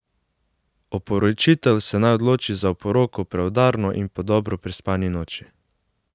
Oporočitelj se naj odloči za oporoko preudarno in po dobro prespani noči.